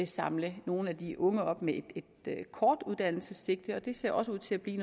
samle nogle af de unge op med et kort uddannelsessigte og det ser ud til at blive